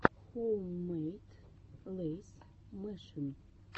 хоуммэйд лэйз мэшин